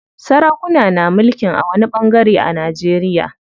Sarakuna na mulkin a wani ɓangare a Najeriya.